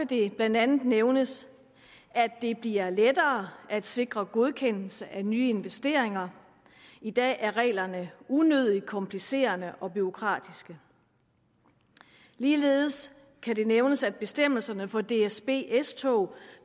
det blandt andet nævnes at det bliver lettere at sikre godkendelse af nye investeringer i dag er reglerne unødigt komplicerede og bureaukratiske ligeledes kan det nævnes at bestemmelserne for dsb s tog